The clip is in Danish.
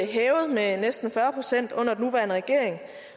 hævet med næsten fyrre procent under den nuværende regering